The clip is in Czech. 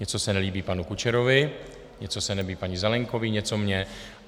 Něco se nelíbí panu Kučerovi, něco se nelíbí paní Zelienkové, něco mně.